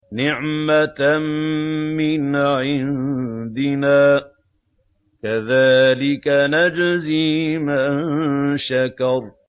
نِّعْمَةً مِّنْ عِندِنَا ۚ كَذَٰلِكَ نَجْزِي مَن شَكَرَ